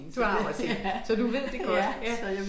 Du har også én så du ved det godt ja